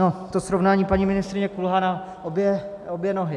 No, to srovnání, paní ministryně, kulhá na obě nohy.